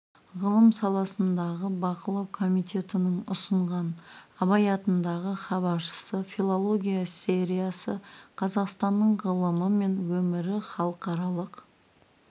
ғылым саласындағы бақылау комитетінің ұсынған абай атындағы хабаршысы филология сериясы қазақстанның ғылымы мен өмірі халықаралық